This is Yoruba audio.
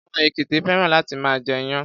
Àwọn èkìtì féràn láti máa jẹ iyán.